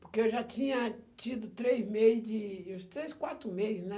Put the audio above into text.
Porque eu já tinha tido três meses de... uns três, quatro meses, né?